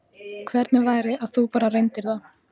Hvernig væri að þú bara reyndir það?